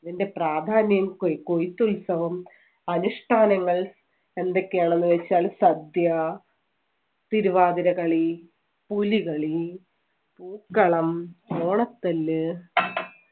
അതിന്‍റെ പ്രാധാന്യം കൊ~കൊയ്യ്ത്തുൽസവം അനുഷ്ഠാനങ്ങൾ എന്തൊക്കെയാണെന്ന് വെച്ചാൽ സദ്യ, തിരുവാതിരകളി, പുലികളി, പൂക്കളം, ഓണത്തല്ല്